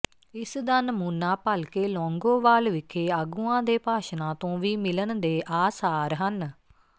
ਇਸ ਦਾ ਨਮੂਨਾ ਭਲਕੇ ਲੌਂਗੋਵਾਲ ਵਿਖੇ ਆਗੂਆਂ ਦੇ ਭਾਸ਼ਣਾਂ ਤੋਂ ਵੀ ਮਿਲਣ ਦੇ ਆਸਾਰ ਹਨ